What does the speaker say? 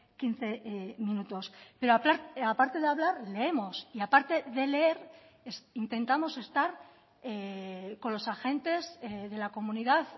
quince minutos pero aparte de hablar leemos y aparte de leer intentamos estar con los agentes de la comunidad